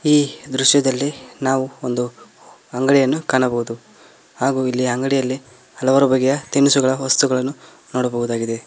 ಈ ದೃಶ್ಯದಲ್ಲಿ ನಾವು ಒಂದು ಅಂಗಡಿಯನ್ನು ಕಾಣಬಹುದು ಹಾಗು ಇಲ್ಲಿ ಅಂಗಡಿಯಲ್ಲಿ ಹಲವಾರು ಬಗ್ಗೆಯ ತಿನಿಸುಗಳ ವಸ್ತುಗಳನ್ನು ನೋಡಬಹುದಾಗಿದೆ.